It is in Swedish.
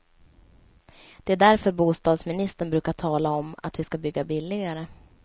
Det är därför bostadsministern brukar tala om att vi ska bygga billigare.